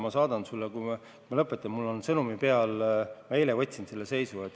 Ma saadan sulle, kui me lõpetame – mul on see sõnumina saadetud – eilse seisu.